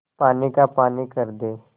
पानी का पानी कर दे